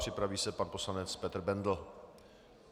Připraví se pan poslanec Petr Bendl.